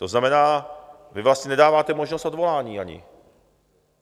To znamená, vy vlastně nedáváte možnost odvolání ani.